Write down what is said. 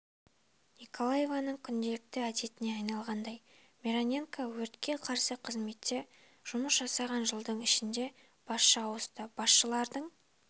николаевнаның күнделікті әдетіне айналғандай мироненко өртке қарсы қызметте жұмыс жасаған жылдың ішінде басшы ауысты басшылардың